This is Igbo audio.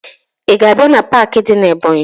Ị ga-abịa na paakị dị na Ebọnyị?